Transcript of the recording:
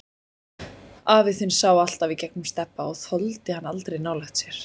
Afi þinn sá alltaf í gegnum Stebba og þoldi hann aldrei nálægt sér.